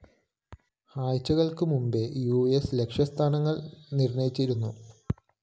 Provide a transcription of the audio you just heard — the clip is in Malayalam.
ആഴ്ചകള്‍ക്ക് മുമ്പേ യുഎസ് ലക്ഷ്യ സ്ഥാനങ്ങള്‍ നിര്‍ണ്ണയിച്ചിരുന്നു